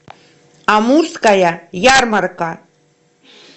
амурская ярмарка